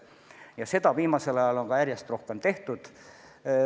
Ja seda on viimasel ajal ka järjest rohkem tehtud.